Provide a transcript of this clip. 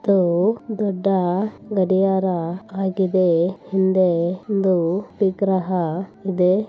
ಇದು ದೊಡ್ಡ ಗಡಿಯಾರ ಅಗಿದೆ ಹಿಂದೆ ಒಂದು ವಿಗ್ರಹ ಇದೆ